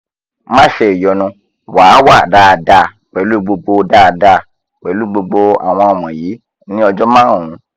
má ṣe ìyọnu wà á wà dáadáa pẹ̀lú gbogbo dáadáa pẹ̀lú gbogbo àwọn wọ̀nyí ní ọjọ́ márùn-ún